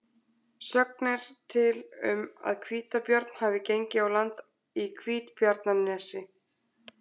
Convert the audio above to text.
Sögn er til um að hvítabjörn hafi gengið á land í Hvítabjarnarnesi.